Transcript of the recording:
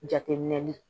Jateminɛli